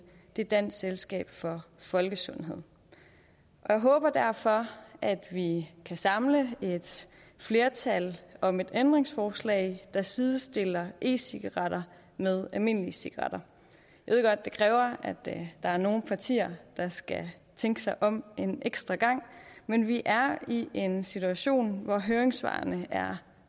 det er dansk selskab for folkesundhed jeg håber derfor at vi kan samle et flertal om et ændringsforslag der sidestiller e cigaretter med almindelige cigaretter jeg ved godt det kræver at der er nogle partier der skal tænke sig om en ekstra gang men vi er i en situation hvor høringssvarene er